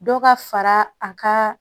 Dɔ ka fara a ka